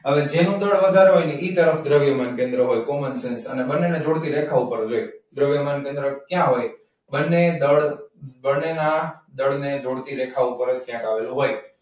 હવે જેનું દળ વધારે હોય એ તરફ દ્રવ્યમાન કેન્દ્ર હોય common છે. અને બંનેને જોડતી રેખાઓ પર હોય. દ્રવ્યમાન દળ ક્યાં હોય બંને દળ બંનેના દળને જોડતી રેખાઓ પર ક્યાંક આવેલો હોય.